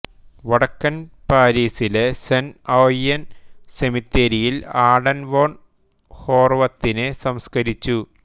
വടക്കൻ പാരീസിലെ Saint Ouen സെമിത്തേരിയിൽ ആഡൻ വോൺ ഹോർവത്തിനെ സംസ്കരിച്ചു